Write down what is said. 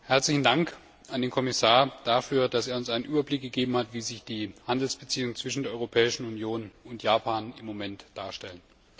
Herzlichen Dank an den Kommissar dafür, dass er uns einen Überblick gegeben hat, wie sich die Handelsbeziehungen zwischen der Europäischen Union und Japan im Moment darstellen.